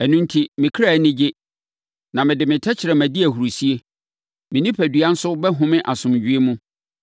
Ɛno enti, me kra ani gye, na me de me tɛkrɛma di ahurisie. Me onipadua nso bɛhome asomdwoeɛ mu.